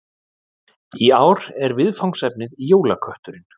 Í ár er viðfangsefnið Jólakötturinn